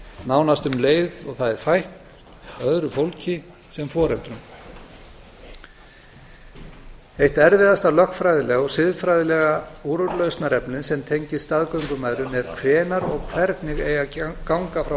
nánast um leið og það er fætt öðru fólki sem foreldrum eitt erfiðasta lögfræðilega og siðfræðilega úrlausnarefni sem tengist staðgöngumæðrun er hvenær og hvernig eigi að ganga frá